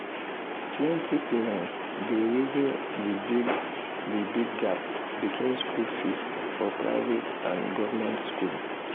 plenty parents dey reason the big the big gap between school fees for private and government school.